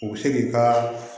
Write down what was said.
U bɛ se k'i ka